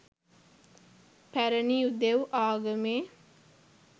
පැරැණි යුදෙව් ආගමේ